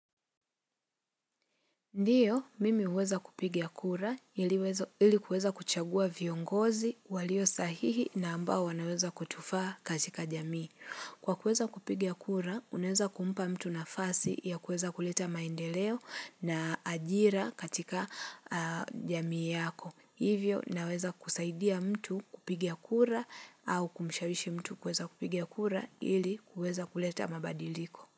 Ndio, mimi huweza kupiga kura ili kuweza kuchagua viongozi walio sahihi na ambao wanaweza kutufaa katika jamii. Kwa kuweza kupigia kura, unaeza kumpa mtu nafasi ya kuweza kuleta maendeleo na ajira katika jamii yako. Hivyo, naweza kusaidia mtu kupigia kura au kumshawishi mtu kueza kupiga kura ili kuweza kuleta mabadiliko.